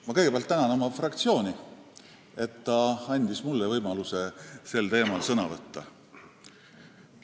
Ma kõigepealt tänan oma fraktsiooni, et ta andis mulle võimaluse sel teemal sõna võtta!